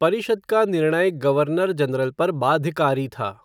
परिषद का निर्णय गवर्नर जनरल पर बाध्यकारी था।